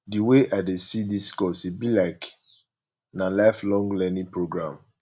di wey i dey see dis course e be like na lifelong learning program